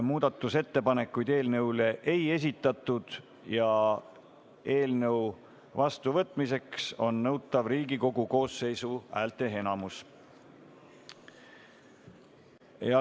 Muudatusettepanekuid eelnõu kohta ei esitatud, eelnõu vastuvõtmiseks on nõutav Riigikogu koosseisu häälteenamus.